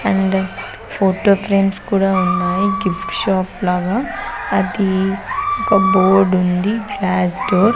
and photo frames కూడా ఉన్నాయి gift shop లాగా అది ఒక బోర్డు ఉంది --